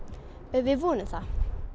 við vonum það